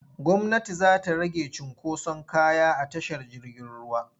Gwmnati za ta rage cunkoson kaya a tashar jirgin ruwa.